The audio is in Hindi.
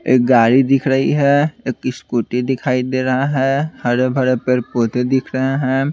एक गाड़ी दिख रही है एक स्कूटी दिखाई दे रहा है हरे भरे पेड़-पौधे दिख रहे हैं।